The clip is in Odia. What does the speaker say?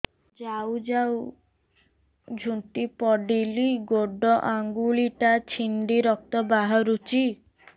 ଯାଉ ଯାଉ ଝୁଣ୍ଟି ପଡ଼ିଲି ଗୋଡ଼ ଆଂଗୁଳିଟା ଛିଣ୍ଡି ରକ୍ତ ବାହାରୁଚି